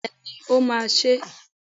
Bẹ́ẹ̀ni, o ma se